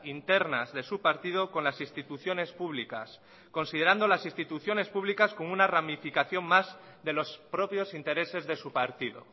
internas de su partido con las instituciones públicas considerando las instituciones públicas como una ramificación más de los propios intereses de su partido